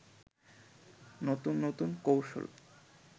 নতুন নতুন কৌশল